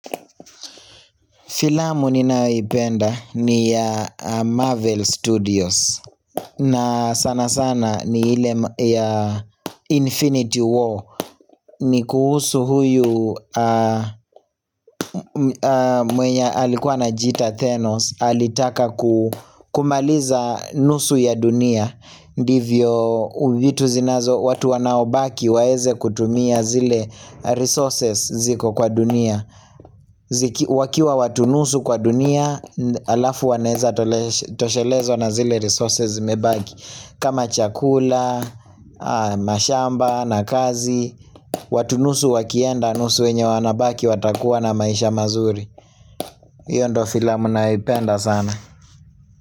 Filamu ninayoipenda ni ya Marvel Studios na sana sana ni ile ya Infinity War ni kuhusu huyu mwenye alikuwa anajiita Thenos alitaka kumaliza nusu ya dunia ndivyo vitu zinazo watu wanaobaki waeze kutumia zile resources ziko kwa dunia wakiwa watu nusu kwa dunia alafu wanaeza toshelezwa na zile resources zimebaki kama chakula, mashamba na kazi watu nusu wakienda, nusu wenye wanabaki watakuwa na maisha mazuri hiyo ndo filamu naipenda sana.